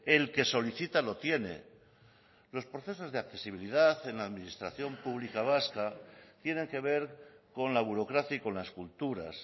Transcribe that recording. el que solicita lo tiene los procesos de accesibilidad en la administración pública vasca tienen que ver con la burocracia y con las culturas